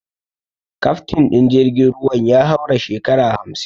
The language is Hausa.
Kaftin din jirgin ruwan ya haura shekara hamsin.